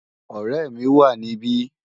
Òrè mi wá nibi